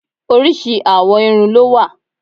Oríṣi àwọ̀ irun ló wà.